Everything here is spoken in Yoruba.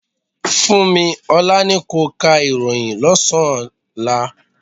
Funmi, Olá ni ko ka ìròhìn lọ́sán-an ọ̀la.